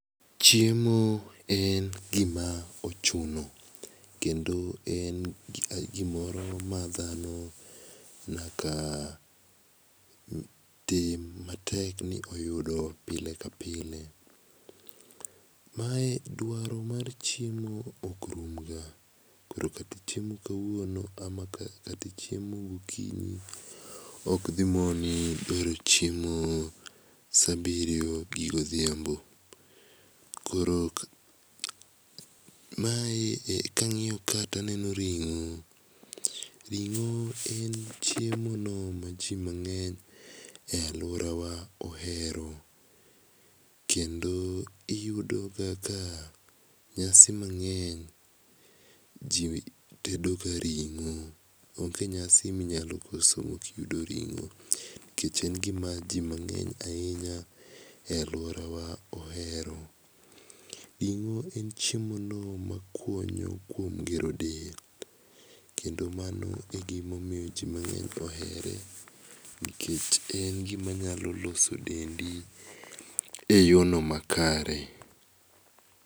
Chiemo en gi ma ochuno kendo en gi moro ma dhano nyaka tim ma tek ni oyudo pile ka pile. Mae dwaro mar chiemo ok rum ga koro kata ichiemo ka wuono ama kata ochiemo gokinyi ok dhimuoni bilo chiemo saa birio gi go dhiambo. Mae ka angiyo kae to aneno ring'o. Ring'o en chiemo no ma ji mangeny e aluora wa ohero kendo iyudo ga ka nyasi mangeny ji tedo ga ringo onge nyasi ma inyalo koso ma ok iyudo ringo. Nikech en gi ma ji mangeny ainya e aluora wa ohero. En chiemo no ma konyo kuom gero dend kedo mano e gi ma omiyo ji mangeny ohere nikech en gi ma nyalo loso dendi e yoo no makare.